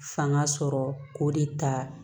Fanga sɔrɔ k'o de ta